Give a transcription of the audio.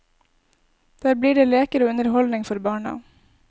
Der blir det leker og underholdning for barna.